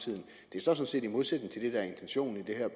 sådan set i modsætning til det der er intentionen i det her